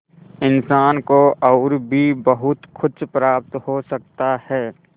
इंसान को और भी बहुत कुछ प्राप्त हो सकता है